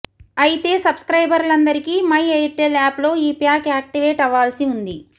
అయితే సబ్స్క్రైబర్లందరికీ my Airtel యాప్లో ఈ ప్యాక్ యాక్టివేట్ అవాల్సి ఉంది